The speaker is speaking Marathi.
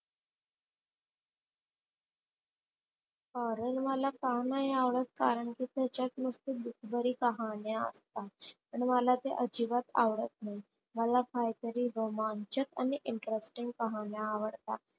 Horror मला का नाही आवडत, कारण कि त्याचात नुसता दुखभरी कहाण्या असतात आणि मला ते अजिबात आवडत नाही मला काहीतरी रोमांचक आणि interesting पहायला आवडत.